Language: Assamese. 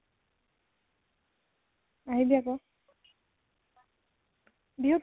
আহিবি আকৌ। বিহুত